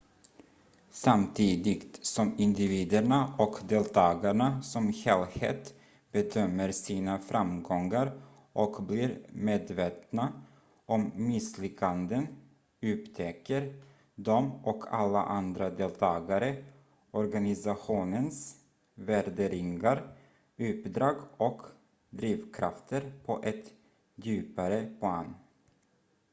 samtidigt som individerna och deltagarna som helhet bedömer sina framgångar och blir medvetna om misslyckanden upptäcker de och alla andra deltagare organisationens värderingar uppdrag och drivkrafter på ett djupare plan